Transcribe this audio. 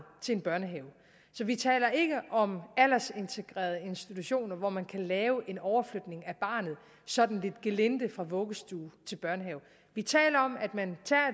til en børnehave så vi taler ikke om aldersintegrerede institutioner hvor man kan lave en overflytning af barnet sådan lidt gelinde fra vuggestue til børnehave vi taler om at man tager